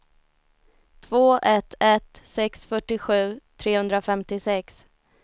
två ett ett sex fyrtiosju trehundrafemtiosex